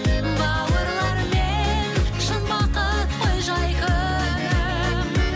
бауырлармен шын бақыт қой жай күнім